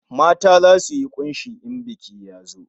Mata zasu yi kunshi in biki ya zo